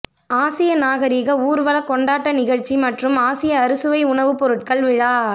ஆசிய நாகரிக ஊர்வலக் கொண்டாட்ட நிகழ்ச்சி மற்றும் ஆசிய அறுசுவை உணவுப் பொருட்கள் விழா